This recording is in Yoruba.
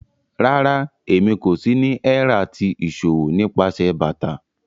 Rárá, èmí kò sì ni ẹ̀rà ti iṣọwọ̀ nípasẹ̀ bátà.